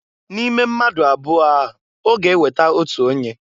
N'ime mmadu abụọ a ọ ga eweta otu onye.